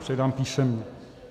Předám písemně.